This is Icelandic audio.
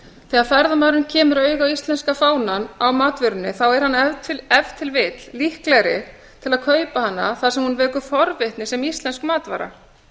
þegar ferðamaðurinn kemur auga á íslenska fánann á matvörunni er hann ef til vill líklegri til að kaupa hana þar sem hún vekur forvitni sem íslensk matvara